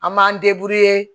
An m'an